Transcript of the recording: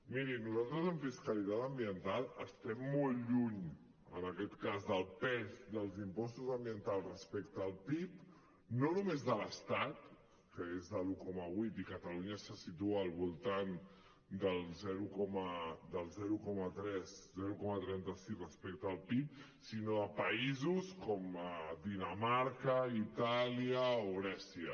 miri nosaltres en fiscalitat ambiental estem molt lluny en aquest cas del pes dels impostos ambientals respecte al pib no només de l’estat que és de l’un coma vuit i catalunya se situa al voltant del zero coma trenta sis respecte al pib sinó a països com dinamarca itàlia o grècia